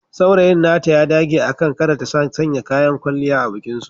Saurayin nata ya dage akan kada ta sanya kayan kwalliya a bikin aurensu.